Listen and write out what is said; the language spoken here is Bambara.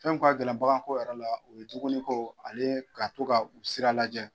Fɛn min ka gɛlɛn bagako yɛrɛ la; o ye dumuni ko ale ka to ka u sira lajɛ.